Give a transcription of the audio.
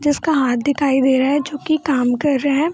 जिसका हाथ दिखाई दे रहा है जो कि कम कर रहा है।